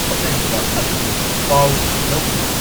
ꯍꯣꯠꯅꯔꯤꯕ ꯑꯗꯨꯒꯤ ꯄꯥꯎ ꯂꯧꯗꯨꯅ